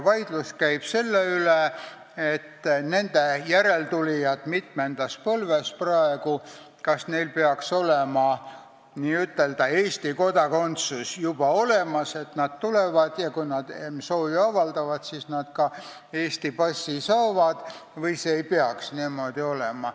Vaidlus käib selle üle, kas nende mitmenda põlve järeltulijatel peaks praegu olema juba Eesti kodakondsus olemas, nii et kui nad tulevad ja soovi avaldavad, siis nad ka Eesti passi saavad, või ei peaks see niimoodi olema.